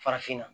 Farafinna